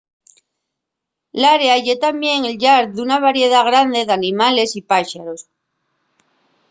l’área ye tamién el llar d’una variedá grande d’animales y páxaros